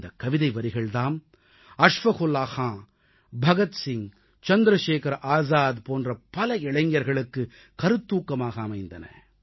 இந்தக் கவிதை வரிகள் தாம் அஷ்ஃபக்குல்லா கான் பகத் சிங் சந்திரசேகர ஆஸாத் போன்ற பல இளைஞர்களுக்கு கருத்தூக்கமாக அமைந்தன